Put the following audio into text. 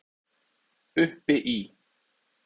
Uppi í